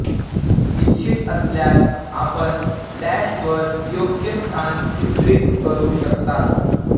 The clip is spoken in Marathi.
इच्छित असल्यास आपण डॅश वर योग्य स्थान चित्रित करू शकता